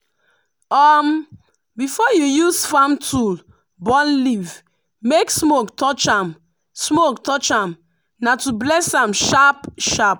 before you use farm tool burn leaf make smoke touch am smoke touch am na to bless am sharp-sharp.